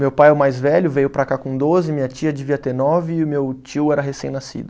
Meu pai é o mais velho, veio para cá com doze, minha tia devia ter nove e o meu tio era recém-nascido.